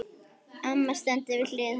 Amma stendur við hlið hans.